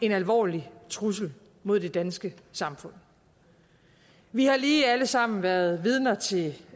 en alvorlig trussel mod det danske samfund vi har lige alle sammen været vidner til